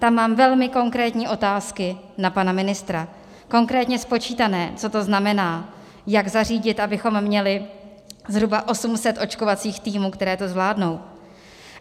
Tam mám velmi konkrétní otázky na pana ministra, konkrétně spočítané, co to znamená, jak zařídit, abychom měli zhruba 800 očkovacích týmů, které to zvládnou.